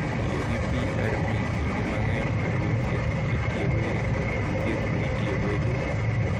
Tiyo gi PRP kinde mang’eny oriwo thieth ma itiyogo e ringruok kod thieth ma itiyogo e del.